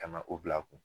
Ka na o bila a kun